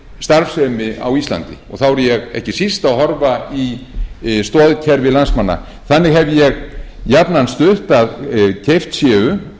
starfsemi á íslandi og þá er ég ekki síst að horfa í stoðkerfi landsmanna þannig hef ég jafnan stutt að keypt séu